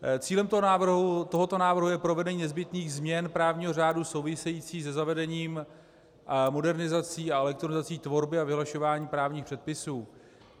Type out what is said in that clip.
Cílem tohoto návrhu je provedení nezbytných změn právního řádu souvisejících se zavedením modernizací a elektronizací tvorby a vyhlašování právních předpisů.